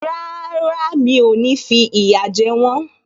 Rárá, mi ò ní fi ìyà jẹ wọ́n